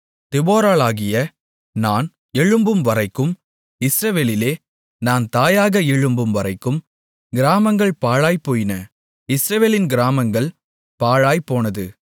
தெபொராளாகிய நான் எழும்பும்வரைக்கும் இஸ்ரவேலிலே நான் தாயாக எழும்பும்வரைக்கும் கிராமங்கள் பாழாய்ப்போயின இஸ்ரவேலின் கிராமங்கள் பாழாய்ப்போனது